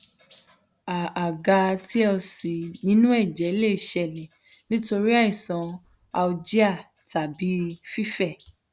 a a ga tlc ninu ẹjẹ le ṣẹlẹ nitori aisan alergia tabi fifẹ